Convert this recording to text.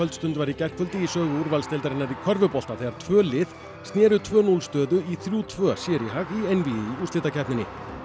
stund var í gærkvöldi í sögu úrvalsdeildarinnar í körfubolta þegar tvö lið sneru tvö til núll stöðu í þrjá til tveggja sér í hag í einvígi í úrslitakeppninni